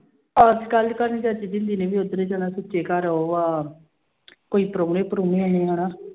ਚਾਚੀ ਜਿੰਦੀ ਨੇ ਵੀ ਉੱਧਰ ਹੀ ਜਾਣਾ ਸੁੱਚੇ ਘਰ ਉਹ ਆ ਕੋਈ ਪ੍ਰਾਹੁਣੇ ਪ੍ਰਾਹੁਣੇ ਆਏ ਹਨਾ